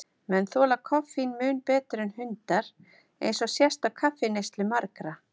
Menn þola koffín mun betur en hundar, eins og sést á kaffineyslu margra.